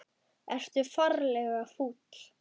Ertu ferlega fúll?